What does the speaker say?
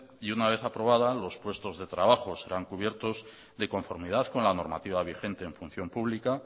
y una vez aprobada los puestos de trabajo serán cubiertos de conformidad con la normativa vigente en función pública